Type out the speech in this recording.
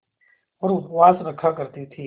और उपवास रखा करती थीं